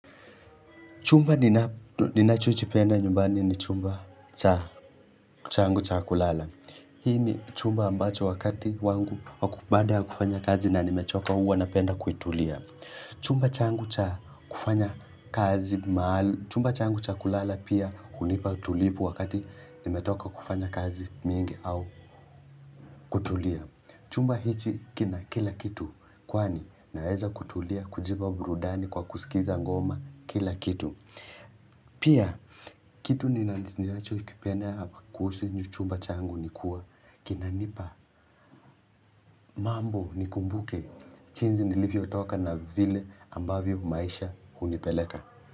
Chumba ninachochipenda nyumbani ni chumba changu cha kulala. Hii ni chumba ambacho wakati wangu wa baada ya kufanya kazi na nimechoka huwa napenda kuitulia. Chumba changu cha kulala pia hunipa tulivu wakati nimetoka kufanya kazi nyingi au kutulia. Chumba hichi kina kila kitu kwani naweza kutulia kujipa burudani kwa kusikiza ngoma kila kitu. Pia, kitu ninachokipenda hapa kuhusu chumba changu ni kuwa kinanipa mambo nikumbuke. Jiinsi nilivyotoka na vile ambavyo maisha hunipeleka.